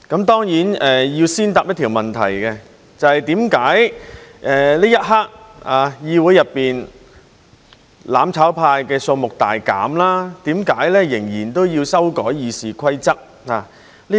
當然要先回答一條問題，就是為何此刻議會內"攬炒派"的數目大減，仍然要修改《議事規則》。